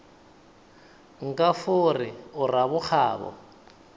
nka fo re o rabokgabo